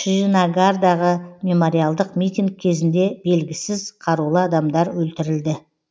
шринагардағы мемориалдық митинг кезінде белгісіз қарулы адамдар өлтірілді